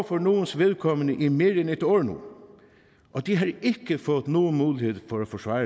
for nogles vedkommende i mere end et år nu og de har ikke fået nogen mulighed for at forsvare